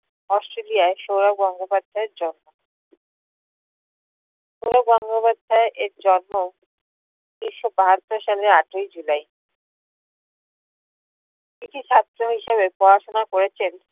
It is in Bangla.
australia ই সৌরভ গঙ্গোপাধ্যাইয়ের জন্ম। সৌরভ গঙ্গোপাধ্যাইয়ের জন্ম উনিশশো বাহাত্তর সালের আটয় july । কৃতি ছাত্র হিসেবে পড়াশোনা করেছেন